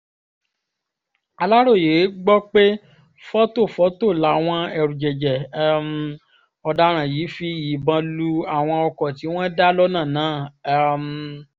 aláròye gbọ́ pé fọ́tòfọ́tò làwọn ẹ̀rùjẹ̀jẹ̀ um ọ̀daràn yìí fi ìbọn lu àwọn ọkọ̀ tí wọ́n dá lọ́nà náà um